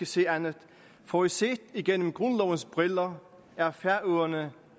se andet for set gennem grundlovens briller er færøerne